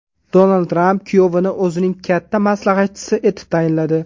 Donald Tramp kuyovini o‘zining katta maslahatchisi etib tayinladi .